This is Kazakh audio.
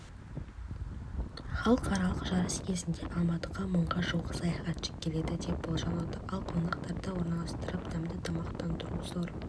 халықаралық жарыс кезінде алматыға мыңға жуық саяхатшы келеді деп болжануда ал қонақтарды орналастырып дәмді тамақтандыру зор